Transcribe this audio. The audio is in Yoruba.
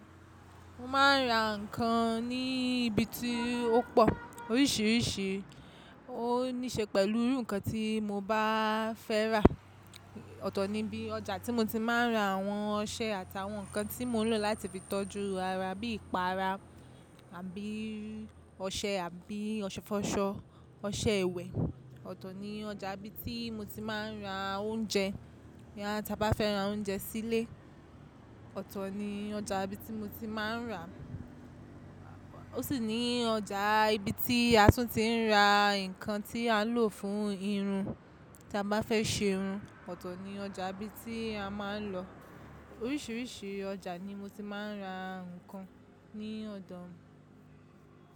Mo máa ń ra ǹkan ní ibi tí ó pọ̀, oríṣiríṣi ó ní ṣe pẹ̀lú irú ǹkan tí mo bá fẹ́ rà. Ọ̀tọ̀ ni bí ọjà tí mo ti máa ń ra àwọn ọṣẹ àtàwọn ǹkan tí mò ń lò láti fi tọ́jú ara bí ìpara àbí ọṣẹ àbí ọṣẹ fọ́ṣọ, ọṣẹ ìwẹ̀. Ọ̀tọ̀ ni ọjà ibi tí mo ti máa ń ra oúnjẹ, tí a bá fẹ́ ra oúnjẹ sílé. Ọ̀tọ̀ ni ọjà ibi tí mo ti máa ń rà. Ó sì ní ọjà ibi tí a tún ti ń ra ǹkan tí a ń lò fún irun tí a bá fẹ́ ṣe irun. Ọ̀tọ̀ ni ọjà ibi tí a máa ń lọ. Oríṣiríṣi ọjà ni mo ti máa ń ra ǹkan ní ọ̀dọ̀ mi.